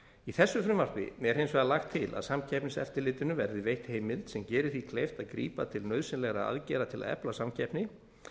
í þessu frumvarpi er hins vegar lagt til að samkeppniseftirlitinu verði veitt heimild sem gerir því kleift að grípa til nauðsynlegra aðgerða til að efla samkeppni